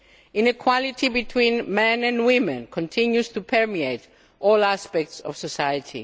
Inequality between men and women continues to permeate all aspects of society.